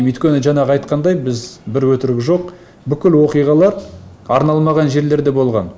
өйткені жаңағы айтқандай біз бір өтірігі жоқ бүкіл оқиғалар арналмаған жерлерде болған